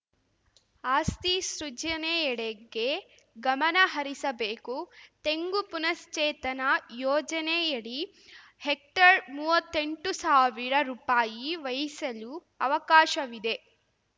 ಆಸ್ತಿ ಸೃಜಿನೆಯೆಡೆಗೆ ಗಮನ ಹರಿಸಬೇಕು ತೆಂಗು ಪುನಶ್ಚೇತನ ಯೋಜನೆಯಡಿ ಹೆಕ್ಟರ್‌ ಮೂವತ್ತೆಂಟು ಸಾವಿರ ರುಪಾಯಿ ವ್ಯಯಿಸಲು ಅವಕಾಶವಿದೆ